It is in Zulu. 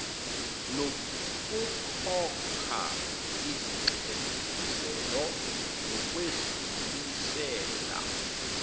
nokukhokha izinxephezelo nokwedlulisela